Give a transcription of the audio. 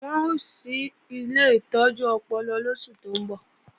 Wọ́n ó ṣí ilé ìtọ́jú ọpọlọ lóṣù tó ńbọ̀